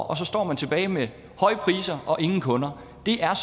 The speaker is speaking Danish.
og så står man tilbage med høje priser og ingen kunder det er